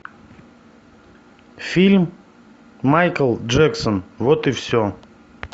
фильм майкл джексон вот и все